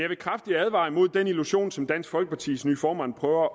vil kraftigt advare imod den illusion som dansk folkepartis nye formand prøver